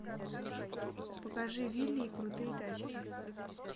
покажи вилли и крутые тачки